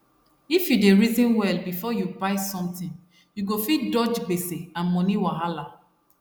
if you dey reason well before you buy something you go fit dodge gbese and money wahala